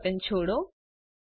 mouse button છોડો